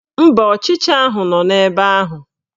Mba, ọchịcha ahụ nọ ebe ahụ